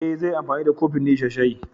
E, zai yi anfani da kofin ne ya sha shayi.